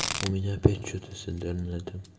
у меня опять что-то с интернетом